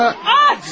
Aç!